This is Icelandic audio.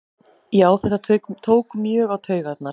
Já þetta tók mjög á taugarnar